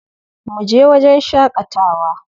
Mu je wajen shaƙatawa.